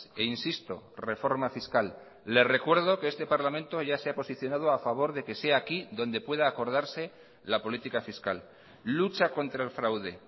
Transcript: e insisto reforma fiscal le recuerdo que este parlamento ya se ha posicionado a favor de que sea aquí donde pueda acordarse la política fiscal lucha contra el fraude